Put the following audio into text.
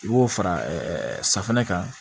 I b'o fara safunɛ kan